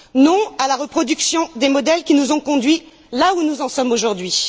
Non à la reproduction des modèles qui nous ont conduits là où nous en sommes aujourd'hui.